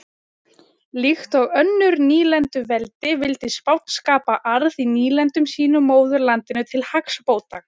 Líkt og önnur nýlenduveldi vildi Spánn skapa arð í nýlendum sínum móðurlandinu til hagsbóta.